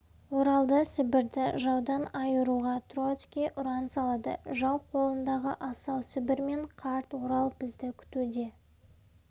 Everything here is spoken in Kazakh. оралды сібірді жаудан айыруға троцкий ұран салады жау қолындағы асау сібір мен қарт орал бізді күтуде